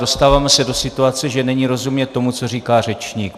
Dostáváme se do situace, že není rozumět tomu, co říká řečník.